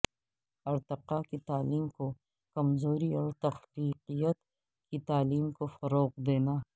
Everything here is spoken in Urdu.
ارتقاء کی تعلیم کو کمزوری اور تخلیقیت کی تعلیم کو فروغ دینا